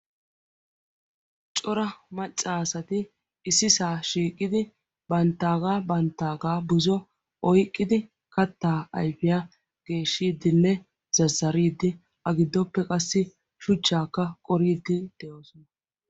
Cora macca asati issisaa shiiqidi banttaagaa banttaagaa buzo oyqqidi kattaa ayfiyaa geeshshiiddinne zazzariiddi A giddoppe qassi shuchchaakka qoriiddi de'oosona.